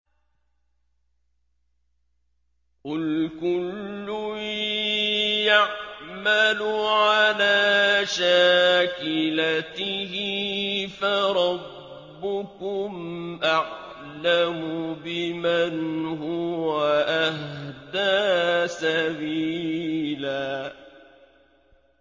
قُلْ كُلٌّ يَعْمَلُ عَلَىٰ شَاكِلَتِهِ فَرَبُّكُمْ أَعْلَمُ بِمَنْ هُوَ أَهْدَىٰ سَبِيلًا